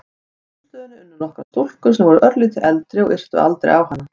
Á símstöðinni unnu nokkrar stúlkur sem voru örlítið eldri og yrtu aldrei á hana.